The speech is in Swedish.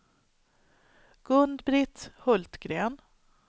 Gun-Britt Hultgren